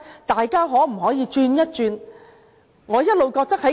大家可否轉變一下思維？